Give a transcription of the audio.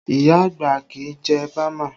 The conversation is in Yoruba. Iya àgbà kì í jẹ bama